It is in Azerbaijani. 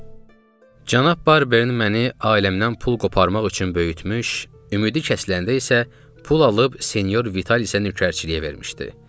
Cənab Barber məni ailəmdən pul qoparmaq üçün böyütmüş, ümidi kəsiləndə isə pul alıb senyor Vital isə nökərçiliyə vermişdi.